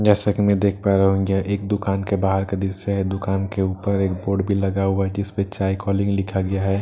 जैसा कि मैं देख पा रहा हूं इन जा एक दुकान के बाहर का दृश्‍य है दुकान के ऊपर एक बोर्ड भी लगा हुआ है जिसपे चाय कॉलिंग लिखा गया है ।